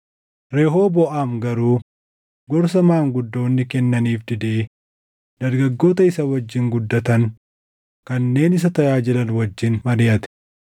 Rehooboʼaam garuu gorsa maanguddoonni kennaniif didee dargaggoota isa wajjin guddatan kanneen isa tajaajilan wajjin mariʼate.